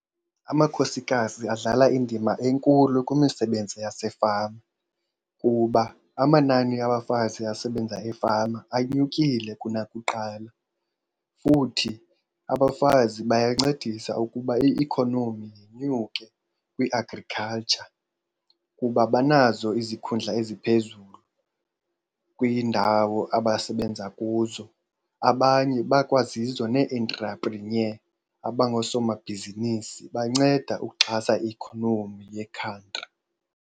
Amakhosikazi adlala indima enkulu kwimisebenzi yasefama kuba amanani abafazi asebenza efama anyukile kunakuqala. Futhi abafazi bayancedisana ukuba i-economy inyuke kwi-agriculture kuba banazo izikhundla eziphezulu kwiindawo abasebenza kuzo. Abanye bakwazizo ne-intrepreneur abangoosomabhizinisi, banceda ukuxhasa i-economy yekhantri.